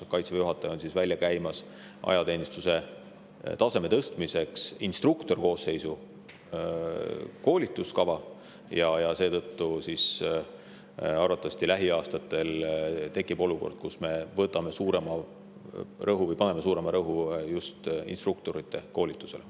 Kaitseväe juhataja on ajateenistuse taseme tõstmiseks välja käimas instruktorkoosseisu koolituskava ja seetõttu tekib lähiaastatel arvatavasti olukord, kus me paneme suurema rõhu just instruktorite koolitusele.